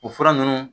O fura ninnu